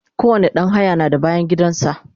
kowani ɗan haya na da bayangidan sa